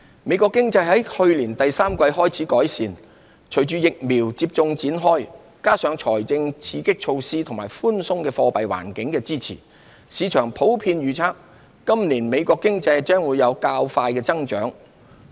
美國經濟自去年第三季開始改善，隨着疫苗接種開展，加上財政刺激措施和寬鬆貨幣環境的支持，市場普遍預測今年美國經濟將有較快增長。